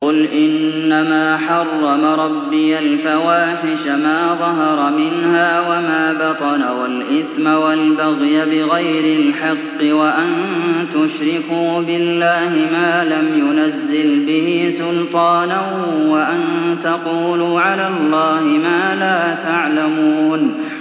قُلْ إِنَّمَا حَرَّمَ رَبِّيَ الْفَوَاحِشَ مَا ظَهَرَ مِنْهَا وَمَا بَطَنَ وَالْإِثْمَ وَالْبَغْيَ بِغَيْرِ الْحَقِّ وَأَن تُشْرِكُوا بِاللَّهِ مَا لَمْ يُنَزِّلْ بِهِ سُلْطَانًا وَأَن تَقُولُوا عَلَى اللَّهِ مَا لَا تَعْلَمُونَ